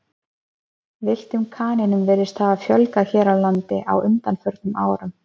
Villtum kanínum virðist hafa fjölgað hér á landi á undanförnum árum.